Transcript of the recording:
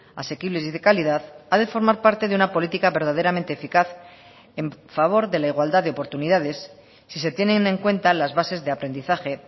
asequibles y de calidad ha de formar parte de una política verdaderamente eficaz en favor de la igualdad de oportunidades si se tienen en cuenta las bases de aprendizaje